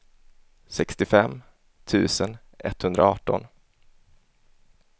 sextiofem tusen etthundraarton